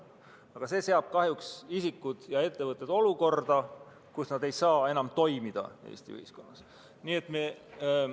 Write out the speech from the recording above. Aga see seab kahjuks isikud ja ettevõtted olukorda, kus nad ei saa enam Eesti ühiskonnas toimida.